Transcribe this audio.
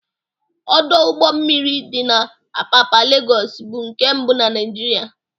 Ọdọ ụgbọ mmiri dị na Apapa, Legọs, bụ nke mbụ na Naịjịrịa